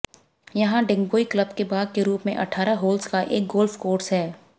यहाँ डिगबोई क्लब के भाग के रूप में अठारह होल्स का एक गोल्फ कोर्स है